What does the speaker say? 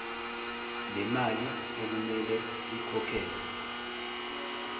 lemali okumele ikhokhelwe